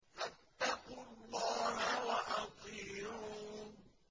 فَاتَّقُوا اللَّهَ وَأَطِيعُونِ